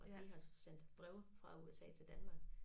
Og de har så sendt breve fra USA til Danmark